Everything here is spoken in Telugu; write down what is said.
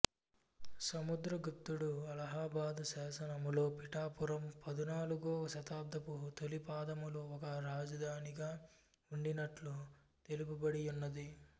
సముద్ర గుప్తుడు అలహాబాదు శాసనములో పిఠాపురము పదునాలుగో శతాబ్దపు తొలిపాదములో ఒక రాజధానిగా ఉండినట్లు తెలుపబడి యున్నది